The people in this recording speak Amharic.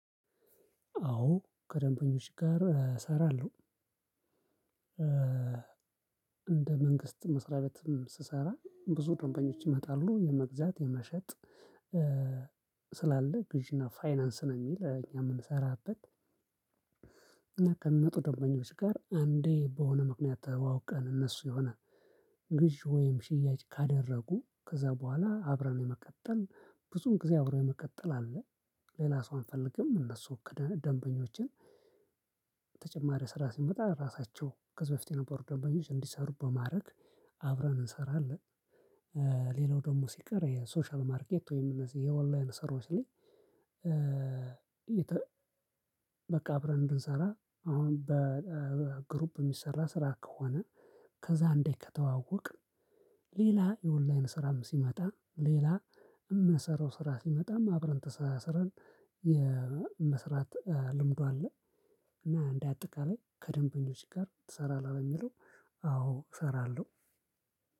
አዎ ከደንበኞች ጋር እሰራለሁ። እንደ መንግስት መስሪያበትም ስሰራ ብዙ ድንበኞች ይመጣሉ የመግዛት የመሸጥ ስላለ ግዢና ፋይናንስ ነው የሚል እኛ የምንሰራበት። እና ከምጡ ደንበኞች ጋር አንዲህ በሆነ ምክንያት ተዋውቀን እነሱ የሆነ ግዥ ወይም ሽያጭ ካደረጉ ከዛ በኋላ አብረን የመቀጠል ብዙም ጊዜ አብረን የመቀጠል አለ ሌላ ሰው አንፈልግም እነሱ ክደን ደንበኞችን። ተጨማሪ ስራ ሲመጣ ራሳቸው ከዝህ በፊት የነበሩ ደንበኞች እንዲሰሩ በማድረግ አብረን እንሰራለን። ሌላው ደግሞ ሲቀር የሶሻል ማርኬት ወይም እነዚህ የኦንላይን ስራዎች ላይ። በቃ አብረን እንድንሰራ አሁን በግሩፕ የሚሰራ ስራ ከሆነ ከዛ እንዴ ከተዋወቅን ሌላም የ ኦንላይን ስራም ሲመጣ ሌላ እምሰራው ስራም ሲመጣም አብረን ተሳስረን የመስራት ልምዱ አለ። እና እንደ አጠቃላይ ከደንበኞች ጋር ትሰራለህ ለሚለው? አዎ እሰራለው።